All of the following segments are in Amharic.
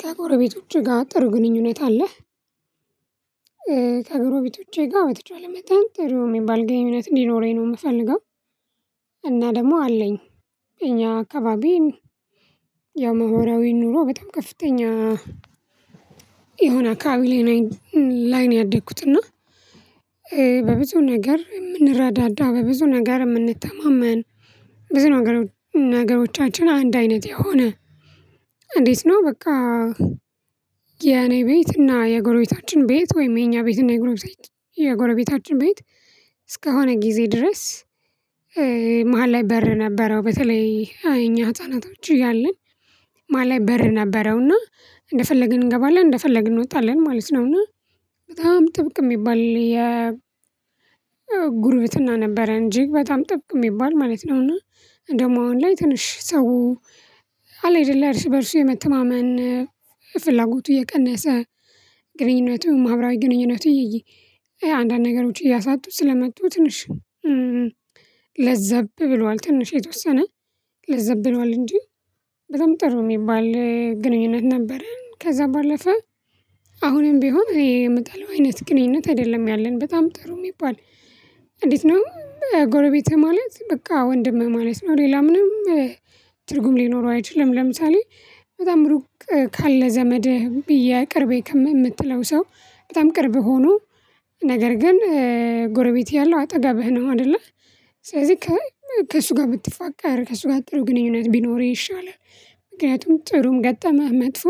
ከጎረቤቶችህ ጋር ጥሩ ግንኙነት አለህ? ከጎረቤቶቼ ጋር በተቻለ መጠን ጥሩ የሚባል ግንኙነት እንዲኖረኝ ነው የምፈልገው እና ደግሞ አለኝ። እኛ አካባቢን ያው ማህበራዊ ኑሮ በጣም ከፍተኛ የሆነ አካባቢ ላይ ነው ያደኩት። እና በብዙ ነገር የምንረዳዳ በብዙ ነገር የምንተማመን ብዙ ነገሮቻችን አንድ አይነት የሆነ እንዴት ነው በቃ? የኔ ቤት እና የጎረቤታችን ቤት ወይም የኛ ቤት እና የጎረቤታችን ቤት እስከሆነ ጊዜ ድረስ። መሃል ላይ በር ነበረው በተለይ እኛ ህፃናቶች እያለን ማለት በር ነበረውና እንደፈለግን እንገባለን እንደፈለግን እንወጣለን ማለት ነው። እና በጣም ጥብቅ የሚባል የ ጉርብትና ነበረ እጂግ በጣም ጥብቅ የሚባል ማለት ነው። እና ደግሞ አሁን ላይ ትንሽ ሰው አለ የደለ እርስ በእርሱ የመተማመን ፍላጎቱ እየቀነሰ ግንኙነቱን ማህበራዊ ግንኙነቱን አንዳንድ ነገሮች እያሳጡ ስለመጡ ትንሽ ለዘብ ብሏል ትንሽ የተወሰነ ለዘብ ብሏል እንጂ በጣም ጥሩ የሚባል ግንኙነት ነበረን ከዛ ባለፈ። አሁንም ቢሆን ይሄ የምጠላው አይነት ግንኙነት አይደለም ያለን በጣም ጥሩ የሚባል እንዴት ነው? ጎረቤትህ ማለት በቃ ወንድምህ ማለት ነው ሌላ ምንም ትርጉም ሊኖረው አይችልም። ለምሳሌ በጣም ሩቅ ካለ ዘመድህ ብዬ ቅርቤ ከምትለው ሰው በጣም ቅርብ ሆኖ ነገር ግን ጎረቤት ያለው አጠገብህ ነው አይደለ ስለዚህ ከእሱ ጋር ብትፋቀር ከእሱ ጋር ጥሩ ግንኙነት ቢኖር ይሻላል። ምክንያቱም ጥሩም ገጠመ መጥፎ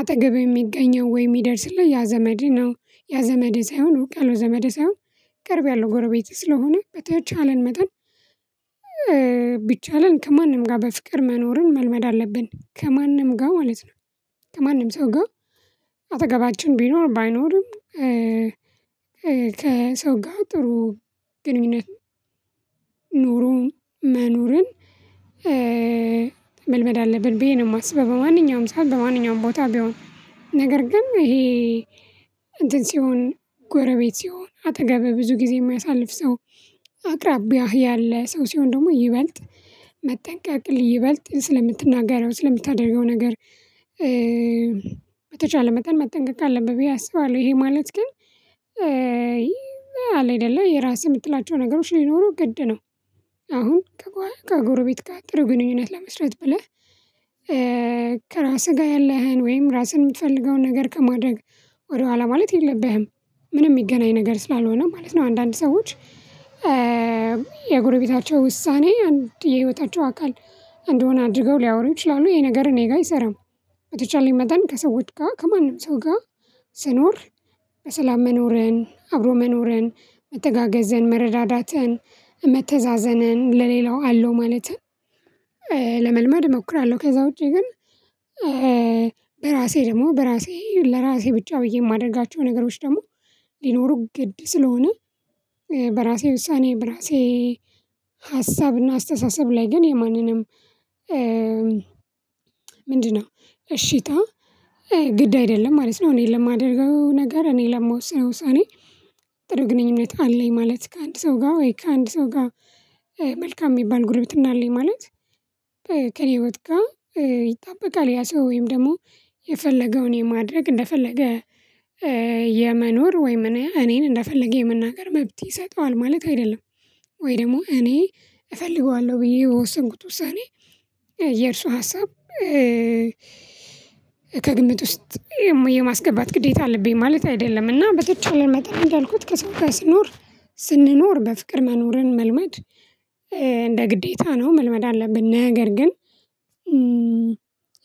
አጠገብ የሚገኘው ወይ የሚደርስልህ ያ ዘመድ ነው ያ ዘመድ ሳይሆን ሩቅ አለው ዘመድ ሳይሆን ቅርብ ያለሁ ጎረቤትህ ስለሆነ በተቻለን መጠን። ቢቻለን ከማንም ጋር በፍቅር መኖርን መልመድ አለብን ከማንም ጋር ማለት ነው። ከማንም ሰው ጋር አጠገባችን ቢኖር ባይኖርም። ከሰው ጋር ጥሩ ግንኙነት ኑሮ መኖርን መልመድ አለብን ብዬ ነው የማስበው። በማንኛውም ሰዓት በማንኛውም ቦታ ቢሆን ነገር ግን ይሄ እንትን ሲሆን ጎረቤት ሲሆን አጠገብ ብዙ ጊዜ የማያሳልፍ ሰው አቅራቢያህ ያለ ሰው ሲሆን ደግሞ ይበልጥ መጠንቀቅ ይበልጥ ስለምትናገረው ስለምታደርገው ነገር በተቻለ መጠን መጠንቀቅ አለብህ ብዬ አስባለሁ። ይሄ ማለት ግን አለ አይደለ የራስህ የምትላቸው ነገሮች ሊኖሩ ግድ ነው። አሁን ከጎረቤት ጋር ጥሩ ግንኙነት ለመስራት ብለህ ከራስህ ጋር ያለህን ወይም ራስህን የምትፈልገውን ነገር ከማድረግ ወደኋላ ማለት የለብህም ምንም የሚገናኝ ነገር ስላልሆነ ማለት ነው። አንዳንድ ሰዎች የጎረቤታቸው ውሳኔ አንድ የህይወታቸው አካል እንደሆነ አድርገው ሊያወሩ ይችላሉ ይሄ ነገር እኔ ጋር አይሰራም። በተቻለኝ መጠን ከሰዎች ጋር ከማንም ሰው ጋር ስኖር በሰላም መኖርን አብሮ መኖርን መተጋገዝን መረዳዳትን መተዛዘንን ለሌላው አለው ማለትም ለመልመድ እሞክራለሁ ከዛ ውጪ ግን። በራሴ ደግሞ በራሴ ለራሴ ብቻ ብዬ የማደርጋቸው ነገሮች ደግሞ ሊኖሩ ግድ ስለሆነ። በራሴ ውሳኔ በራሴ ሀሳብና አስተሳሰብ ላይ ግን የማንንም ምንድነው እሺታ ግድ አይደለም ማለት ነው። እኔ ለማደርገው ነገር እኔ ለመወስነው ውሳኔ ጥሩ ግንኙነት አለኝ ማለት ከአንድ ሰው ጋር ወይ ከአንድ ሰው ጋር መልካም የሚባል ጉርበትና አለኝ ማለት። ከየ ወጥ እቃው ይጠበቃል ያ ሰው ወይም ደግሞ የፈለገውን የማድረግ እንደፈለገ የመኖር ወይም እኔ እኔን እንደፈለገ የምናገር መብት ይሰጠዋል ማለት አይደለም። ወይ ደግሞ እኔ እፈልገዋለሁ ብዬ የወስንኩት ውሳኔ የእርሱ ሀሳብ ከግምት ውስጥ የማስገባት ግዴታ አለብኝ ማለት አይደለም። እና በተቻለ መጠን እንዳልኩት ከሰው ጋር ስኖር ስንኖር በፍቅር መኖርን መልመድ እንደ ግዴታ ነው መልመድ አለብን። ነገር ግን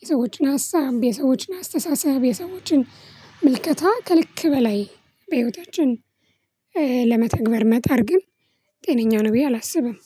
የሰዎችን ሀሳብ የሰዎችን አስተሳሰብ የሰዎችን ምልከታ ከልክ በላይ በህይወታችን ለመተግበር መጣር ግን ጤነኛ ነው ብዬ አላስብም።